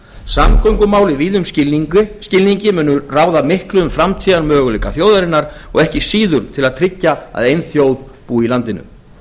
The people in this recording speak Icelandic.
samgöngumál í víðum skilningi munu ráða miklu um framtíðarmöguleika þjóðarinnar og ekki síður til að tryggja að ein þjóð búi í landinu